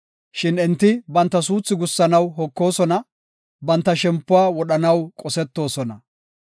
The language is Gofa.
Shin enti banta suuthi gussanaw hokosona; banta shempuwa wodhanaw qosetoosona.